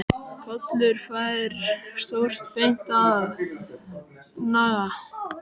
Kolur fær stórt bein að naga.